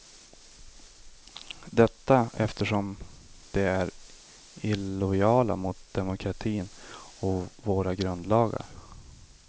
Detta eftersom de är illojala mot demokratin och våra grundlagar.